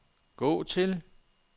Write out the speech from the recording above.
gå til